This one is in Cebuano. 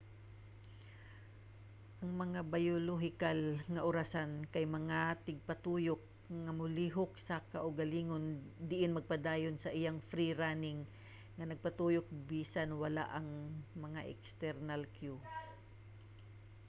ang mga biolohikal nga orasan kay mga tigpatuyok nga molihok sa kaugalingon diin magpadayon sa iyang free-running nga pagtuyok bisan wala ang mga external cue